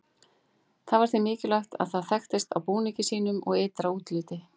það var því mikilvægt að það þekktist á búningi sínum og ytra útliti